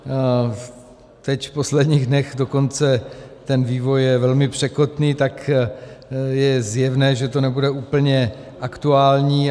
Teď v posledních dnech dokonce ten vývoj je velmi překotný, tak je zjevné, že to nebude úplně aktuální.